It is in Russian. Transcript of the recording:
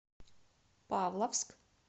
павловск